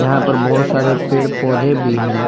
यहां पर बहुत सारे पेड़-पौधे भी हैं।